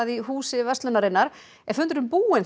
í Húsi verslunarinnar er fundurinn búinn